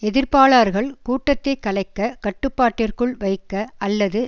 எதிர்ப்பாளர்கள் கூட்டத்தை கலைக்க கட்டுப்பாட்டிற்குள் வைக்க அல்லது